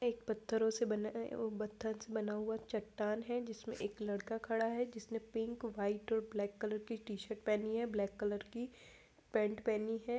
एक पत्थरों से बनाया उ पत्थर से बना हुआ चट्टान है जिसमे एक लड़का खड़ा है जिसने पिंक व्हाइट और ब्लैक कलर की टी-शर्ट पेहनी है ब्लैक कलर की पेंट पेहनी है।